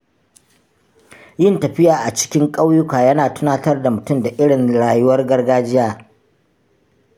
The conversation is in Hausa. Yin tafiya a cikin ƙauyuka yana tunatar da mutum da irin rayuwar gargajiya.